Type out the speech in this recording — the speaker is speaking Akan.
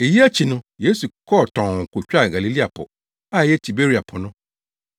Eyi akyi no, Yesu kɔɔ tɔnn kotwaa Galilea Po, a ɛyɛ Tiberia Po no.